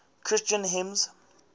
christian hymns